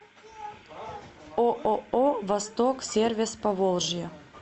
ооо восток сервис поволжье